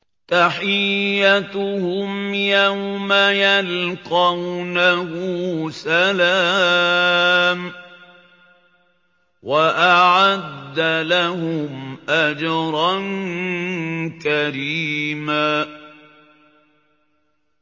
تَحِيَّتُهُمْ يَوْمَ يَلْقَوْنَهُ سَلَامٌ ۚ وَأَعَدَّ لَهُمْ أَجْرًا كَرِيمًا